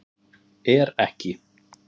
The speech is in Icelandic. Er ekki